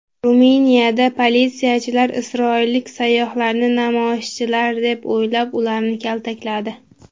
Ruminiyada politsiyachilar isroillik sayyohlarni namoyishchilar deb o‘ylab, ularni kaltakladi .